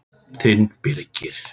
Þinn Birgir.